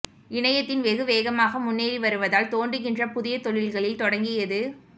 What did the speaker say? இணையத்தின் வெகு வேகமாக முன்னேறி வருவதால் தோன்றுகின்றன புதிய தொழில்களில் தொடங்கியது